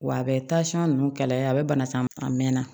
Wa a bɛ ninnu kɛlɛ a bɛ bana san a mɛn na